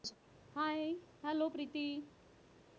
hihello Preeti